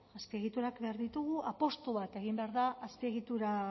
azpiegiturak behar ditugu apustu bat egin behar da